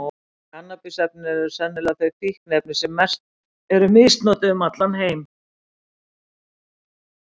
Kannabis-efnin eru sennilega þau fíkniefni sem mest eru misnotuð um allan heim.